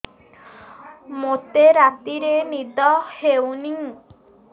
ମୋତେ ରାତିରେ ନିଦ ହେଉନି